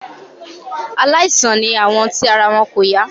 Aláìsàn ni àwọn tí ara wọn kò yá.